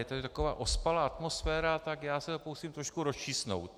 Je tady taková ospalá atmosféra, tak já se to pokusím trošku rozčísnout.